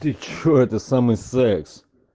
ты что это самый секс